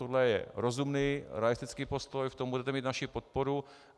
Toto je rozumný, realistický postoj, v tom budete mít naši podporu.